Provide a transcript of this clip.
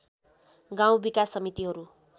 गाउँ विकास समितिहरू